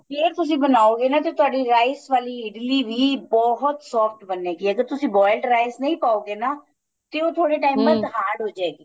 ਜੇ ਤੁਸੀਂ ਬਣਾਉਗੇ ਨਾ ਤੇ ਤੁਹਾਡੀ rice ਵਾਲੀ ਇਡਲੀ ਵੀ ਬਹੁਤ soft ਬਣੇ ਗੀ ਅਗਰ ਤੁਸੀਂ boiled rice ਨਹੀਂ ਪਾਉ ਗੇ ਨਾ ਤੇ ਉਹ ਥੋੜੇ time hard ਹੋ ਜੇ ਗੀ